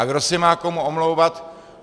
A kdo se má komu omlouvat.